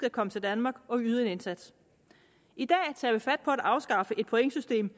at komme til danmark og yde en indsats i dag tager vi fat på at afskaffe et pointsystem